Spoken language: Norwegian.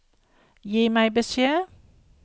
Gi meg beskjed